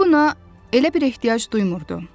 O buna elə bir ehtiyac duymurdu.